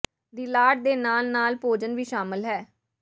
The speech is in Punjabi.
ਦੀ ਲਾਟ ਦੇ ਨਾਲ ਨਾਲ ਭੋਜਨ ਵੀ ਸ਼ਾਮਲ ਹੈ